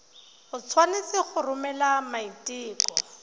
o tshwanetse go romela maiteko